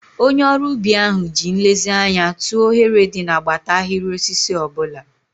Onye ọrụ ubi ahụ ji nlezianya tụọ oghere dị n'agbata ahịrị osisi ọ bụla.